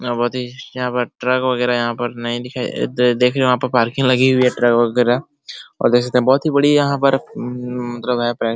और बहुत ही यहाँ पर ट्रक वगैरा यहाँ पर नहीं दिखाई द देखीए वहां पर पार्किंग लगी हुई है ट्रक वगैरा और वैसे तो बहुत ही बड़ी यहां पर |